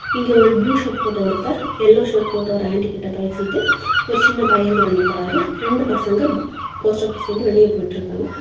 இங்க ஒரு blue shirt போட்ட ஒருத்தர் யெல்லோ ஷர்ட் போட்ட ஒரு ஆன்ட்டி கிட்ட பேசிட்டு ஒரு சின்ன பையன் கூட நிக்கிறாரு ரெண்டு பசங்க போஸ்ட் ஆபீஸ்ல இருந்து வெளியே போயிட்டுருக்காங்க.